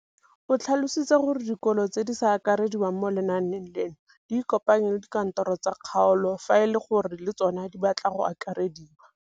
O tlhalositse gore dikolo tse di sa akarediwang mo lenaaneng leno di ikopanye le dikantoro tsa kgaolo fa e le gore le tsona di batla go akarediwa.